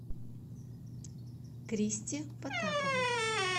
кристе потаповой